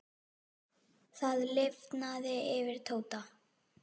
Það lifnaði yfir Tóta.